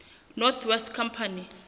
north west company